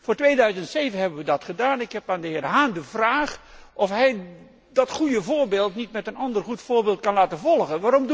Voor 2007 hebben we dat gedaan. Ik heb aan de heer Hahn de vraag of hij dat goede voorbeeld niet door een ander goed voorbeeld kan laten volgen.